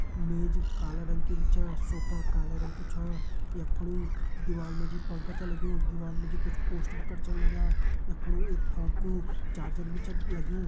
मेज काला रंग की बि छा सोफा काला रंग कु छा यख फुणी इक दिवाल मा जी पंखा छ लग्युं दिवाल मा जी कुछ पोस्टर कर छन लग्यां यख फुणो एक फोण कु चार्जर भी छत लग्युं।